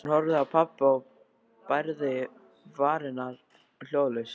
Hún horfði á pabba og bærði varirnar hljóðlaust.